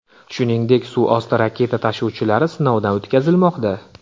Shuningdek, suv osti raketa tashuvchilari sinovdan o‘tkazilmoqda.